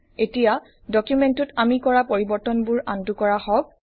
এতিয়া ডকুমেন্টটোত আমি কৰা পৰিবৰ্তনবোৰ আন্ডু কৰা হওঁক